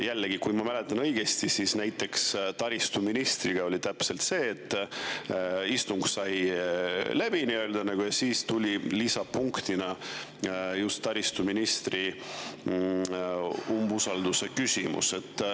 Jällegi, kui ma õigesti mäletan, siis näiteks taristuministriga oli täpselt nii, et istung sai nagu läbi, aga lisapunktina tuli taristuministri umbusaldamise küsimus.